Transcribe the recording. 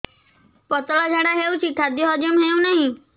ପତଳା ଝାଡା ହେଉଛି ଖାଦ୍ୟ ହଜମ ହେଉନାହିଁ